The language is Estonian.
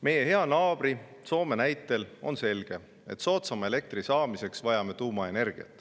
Meie hea naabri Soome näitel on selge, et soodsama elektri saamiseks vajame tuumaenergiat.